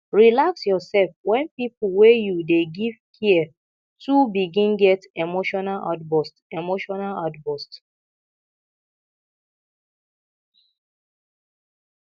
relax your sef when pipo wey you dey give care too begin get emotional outburst emotional outburst